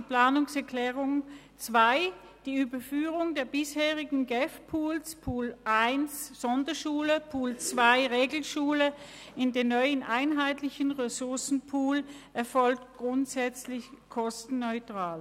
Zu Planungserklärung 2: Die Überführung der bisherigen GEF-Pools – Pool 1 Sonderschule, Pool 2 Regelschule – in den neuen, einheitlichen Ressourcenpool erfolgt grundsätzlich kostenneutral.